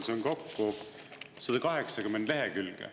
Siin on kokku 180 lehekülge.